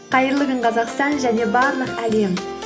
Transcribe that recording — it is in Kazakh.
қайырлы күн қазақстан және барлық әлем